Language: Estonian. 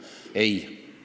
Ei!